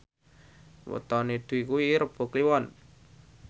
wetone Dwi kuwi Rebo Kliwon